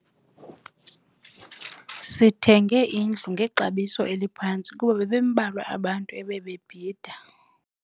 Sithenge indlu ngexabiso eliphantsi kuba bebembalwa abantu ebebebhida.